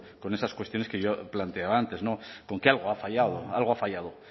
con esas cuestiones que yo planteaba antes con que algo ha fallado algo ha fallado